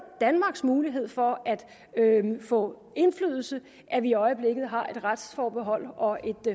danmarks mulighed for at få indflydelse at vi i øjeblikket har et retsforbehold og et